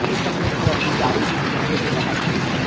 एक सफेद कलर की गाड़ी भी दिख रही है जो बाहर खड़ी है।